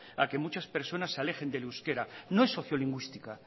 a que muchas personas se alejen del euskera no es sociolingüística